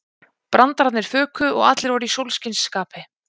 Brandararnir fuku og allir voru í sólskinsskapi.